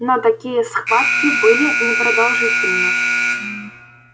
но такие схватки были непродолжительны